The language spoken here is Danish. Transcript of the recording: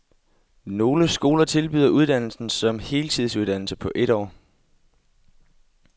Nogle skoler tilbyder uddannelsen som heltidsuddannelse på et år.